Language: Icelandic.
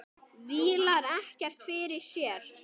Vílar ekkert fyrir sér.